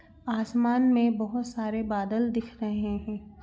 आसमान में बहुत सारे बादल दिख रहे हैं।